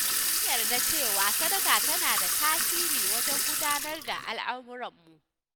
An yarda da cewa sadaka tana da tasiri wajen gudanar da al'amurammu.